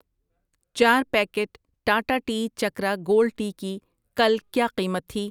چار packet Tata tea Chakra gold tea کی کل کیا قیمت تھی؟